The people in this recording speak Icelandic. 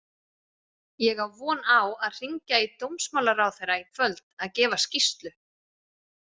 Ég á von á að hringja í dómsmálaráðherra í kvöld að gefa skýrslu.